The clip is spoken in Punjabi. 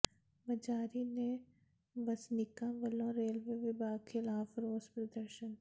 ਮਜਾਰੀ ਦੇ ਵਸਨੀਕਾਂ ਵੱਲੋਂ ਰੇਲਵੇ ਵਿਭਾਗ ਖ਼ਿਲਾਫ਼ ਰੋਸ ਪ੍ਰਦਰਸ਼ਨ